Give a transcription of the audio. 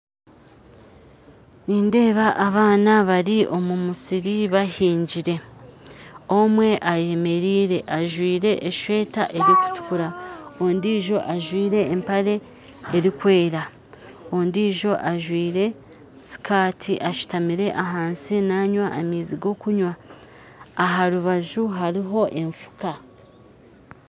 Nindeeba abaana bari omu musiri bahingire omwe ayemereire ajwaire eshweta erukutukura ondiijo ajwaire empare erukwera ondiijo ajwaire sikati ashutamire ahansi nanywa amaizi g'okunywa aha rubaju hariho enfuka .